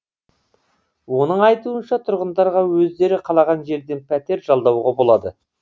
оның айтуынша тұрғындарға өздері қалаған жерден пәтер жалдауға болады